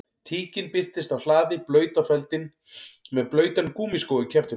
Tíkin birtist á hlaði blaut á feldinn með blautan gúmmískó í kjaftinum